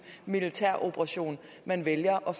militæroperation man vælger at